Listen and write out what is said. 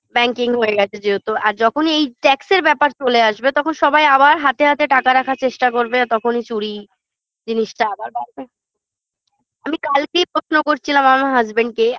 banking হয়ে গেছে যেহেতু আর যখনই এই tax -এর ব্যাপার চলে আসবে তখন সবাই আবার হাতে হাতে টাকা রাখার চেষ্টা করবে আর তখনই চুরি জিনিসটা আবার বাড়বে আমি কালকেই প্রশ্ন করছিলাম আমার husband -কে